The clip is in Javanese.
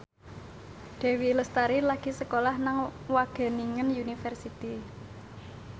Dewi Lestari lagi sekolah nang Wageningen University